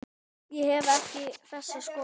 Ég hef ekki þessa skoðun.